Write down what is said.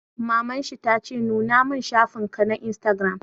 Maman shi ta ce 'Nuna mun shafin ka na Instagram'!